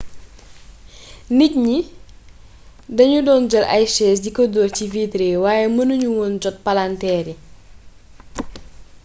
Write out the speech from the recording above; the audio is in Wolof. nit ñi dañu doon jël ay chaise di ko dóor ci vitre yi waaye mënu ñu woon jot palanteer yi